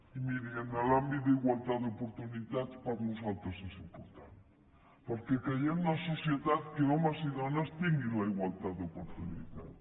i miri l’àmbit d’igualtat d’oportunitats per nosaltres és important perquè creiem en una societat en què homes i dones tinguin la igualtat d’oportunitats